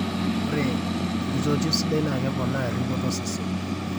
ore enkitotio sidai naa keponaa eripoto osesen